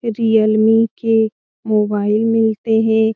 Realme के mobile मिलता है।